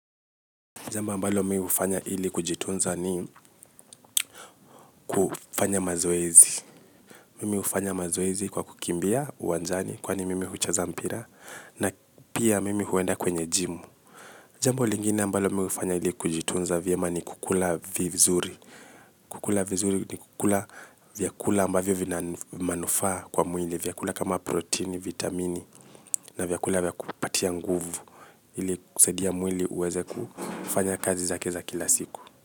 Jambo mbalo mimi hufanya ili kujitunza ni kufanya mazoezi. Mimi hufanya mazoezi kwa kukimbia uwanjani kwani mimi huchaza mpira. Na pia mimi huenda kwenye jimu. Jambu lingine ambalo mimi hufanya ili kujitunza vyema ni kukula vizuri. Kukula vizuri ni kukula vyakula ambavyo vina manufaa kwa mwili. Vyakula kama protini, vitamini na vyakula vya kunipatia nguvu ili kusaidia mwili uweze kufanya kazi zake za kila siku.